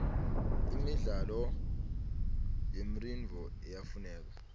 imidlalo yemridno iyafuneka